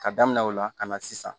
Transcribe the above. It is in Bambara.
Ka damina o la ka na sisan